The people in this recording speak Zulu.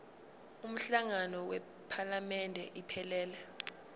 umhlangano wephalamende iphelele